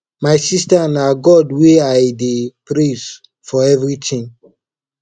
my sister na god wey i dey praise for everything